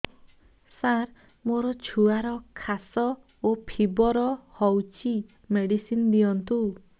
ସାର ମୋର ଛୁଆର ଖାସ ଓ ଫିବର ହଉଚି ମେଡିସିନ ଦିଅନ୍ତୁ